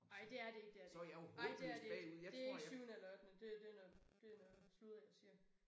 Ej det er det ikke det er det ikke ej det er det ikke. Det ikke syvende eller ottende det det noget det noget sludder jeg siger